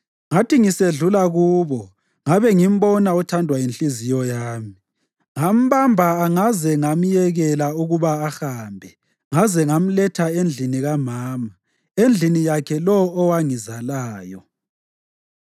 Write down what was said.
Ngathi ngisedlula kubo ngabe ngimbona othandwa yinhliziyo yami. Ngambamba angaze ngamyekela ukuba ahambe ngaze ngamletha endlini kamama, endlini yakhe lowo owangizalayo.